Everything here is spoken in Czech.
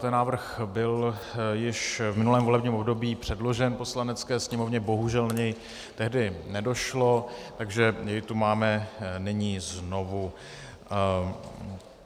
Ten návrh byl již v minulém volebním období předložen Poslanecké sněmovně, bohužel na něj tehdy nedošlo, takže jej tu máme nyní znovu.